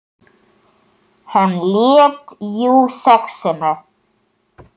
Hann lét jú SEXUNA.